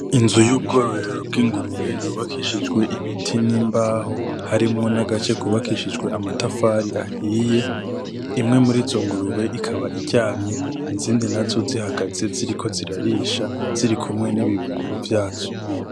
Inzu yubwororero bwingurube yubakishijwe ibiti nimbaho harimwo nagace kubakishijwe amatafari ahiye imwe murizo ngurube ikaba iryamye izindi nazo zihagaze ziriko zirarisha birikumwe nibibuguru vyazo .